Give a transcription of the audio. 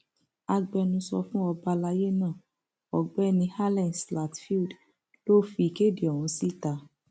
agbẹnusọ fún ọba alayé náà ọgbẹni allen zlatfield ló fi ìkéde ọhún síta